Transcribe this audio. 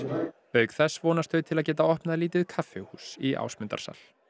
auk þess vonast þau til að geta opnað lítið kaffihús í Ásmundarsal